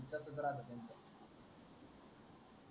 तसच राहत त्याचं